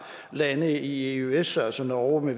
lande i eøs altså norge